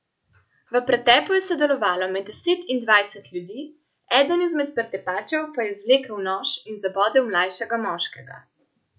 V pretepu je sodelovalo med deset in dvajset ljudi, eden izmed pretepačev pa je izvlekel nož in zabodel mlajšega moškega.